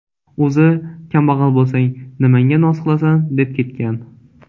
O‘zi kambag‘al bo‘lsang, nimangga noz qilasan?, deb ketgan.